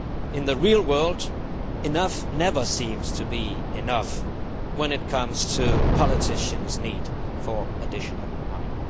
In the real world, enough never seems to be enough when it comes to politicians' need for additional money.